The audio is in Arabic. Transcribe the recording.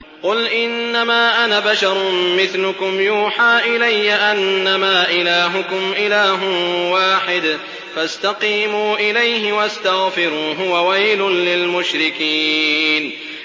قُلْ إِنَّمَا أَنَا بَشَرٌ مِّثْلُكُمْ يُوحَىٰ إِلَيَّ أَنَّمَا إِلَٰهُكُمْ إِلَٰهٌ وَاحِدٌ فَاسْتَقِيمُوا إِلَيْهِ وَاسْتَغْفِرُوهُ ۗ وَوَيْلٌ لِّلْمُشْرِكِينَ